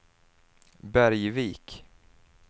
Bergvik